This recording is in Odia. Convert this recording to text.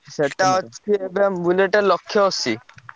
ସେଟା ଅଛି ଏବେ Bullet ଲକ୍ଷେ ଅଶି।